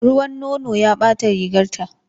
Ruwan nono ya ɓata rigarta.